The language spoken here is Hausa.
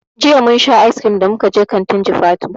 Jiya mun sha icecream da muka je kantin jifatu.